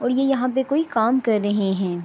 اور یہ یہاں پی کوئی کام کر رہے ہے۔